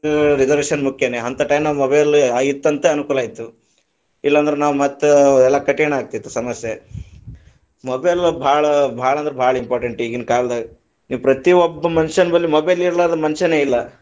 ಹ್ಮ್, reservation ಮುಖ್ಯಾನೇ, ಹಂತ time ನಾಗ mobile ಇತ್ತಂತ ಅನುಕೂಲ ಆಯಿತು, ಇಲ್ಲಂದ್ರ ನಾವ ಮತ್ತ ಎಲ್ಲಾ ಕಠಿಣ ಆಗತಿತ್ತು ಸಮಸ್ಯೆ mobile ಗಳು ಬಾಳ ಬಾಳ ಅಂದ್ರ ಬಾಳ important ಇಗಿನ ಕಾಲದಾಗ, ನೀವ್ ಪ್ರತಿ ಒಬ್ಬ ಮನುಷ್ಯನು mobile ಇರಲಾರದೆ ಮನುಷ್ಯನೇ ಇಲ್ಲಾ.